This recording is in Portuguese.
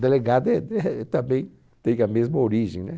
Delegado eh deh também tem a mesma origem, né?